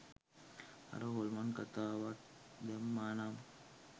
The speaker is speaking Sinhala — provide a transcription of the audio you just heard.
අර හොල්මන් කතාවත් දැම්මා නම්